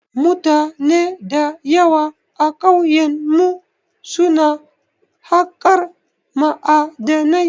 Mutane da yawa a kauyen mu su na haƙar ma'adinai